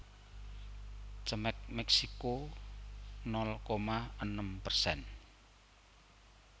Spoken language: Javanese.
Cemex Meksiko nol koma enem persen